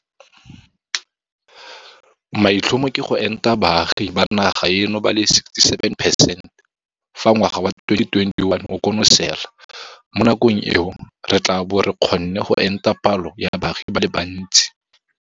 Maitlhomo ke go enta baagi ba naga eno ba le 67 percent fa ngwaga wa 2021 o konosela. Mo nakong eo re tla bo re kgonne go enta palo ya baagi ba le bantsi.